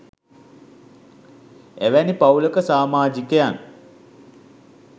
එවැනි පවූලක සමාජිකයන්